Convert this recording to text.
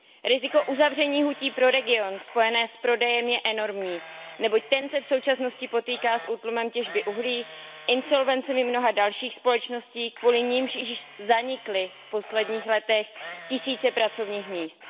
Riziko uzavření hutí pro region, spojené s prodejem, je enormní, neboť ten se v současnosti potýká s útlumem těžby uhlí a insolvencemi mnoha dalších společností, kvůli nimž již zanikly v posledních letech tisíce pracovních míst.